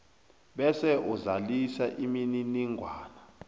bese uzalisa imininingwana